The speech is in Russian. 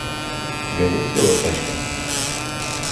у тебя есть велотачка